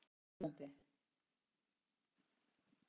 En hvað ef barnið er óhuggandi?